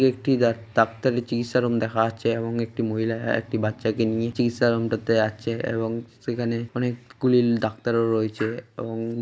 একটি ডা- ডাক্তারি চিকিৎসা রুম দেখা যাচ্ছে এবং একটি মহিলা একটি বাচ্চাকে নিয়ে চিকিৎসা রুম দেখতে যাচ্ছে এবং সেখানে অনেক গুলি ডাক্তারও রয়েছে এবং--